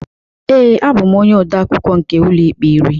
Ee, abụ m onye odeakwụkwọ nke Ụlọikpe iri